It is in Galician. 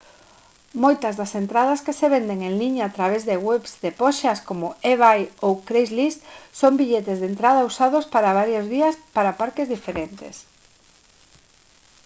moitas das entradas que se venden en liña a través de webs de poxas como ebay ou craigslist son billetes de entrada usados para varios días para parques diferentes